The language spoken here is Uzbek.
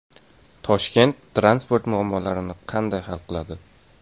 Toshkent transport muammolarini qanday hal qiladi?.